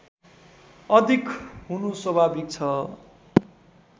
अधिक हुनु स्वाभाविक छ